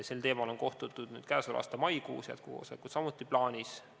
Sel teemal on kohtutud nüüd käesoleva aasta maikuus, jätkukoosolekud on samuti plaanis.